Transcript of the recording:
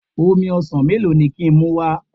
Omi ọsàn melo ni ki n muwa?